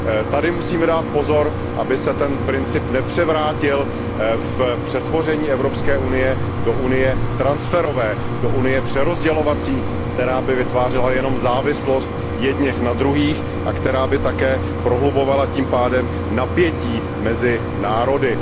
Tady musíme dát pozor, aby se ten princip nepřevrátil v přetvoření Evropské unie do unie transferové, do unie přerozdělovací, která by vytvářela jenom závislost jedněch na druhých a která by také prohlubovala tím pádem napětí mezi národy.